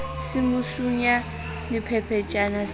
se mo sunya sephephetjhana se